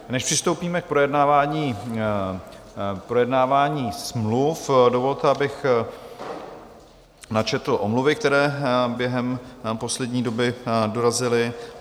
Než přistoupíme k projednávání smluv, dovolte, abych načetl omluvy, které během poslední doby dorazily.